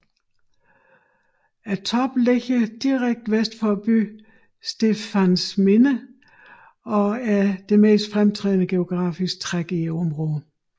Toppen ligger direkte vest for byen Stepantsminda og er det mest fremtrædende geografiske træk i området